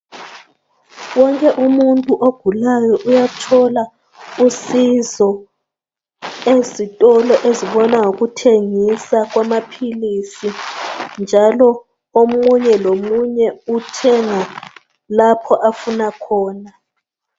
Wonke umuntu ogulayo uyathola usizo, ezitolo ezibona ngokuthengisa kwamaphilisi, njalo omunye lomunye, uthenga lapho afuna khona.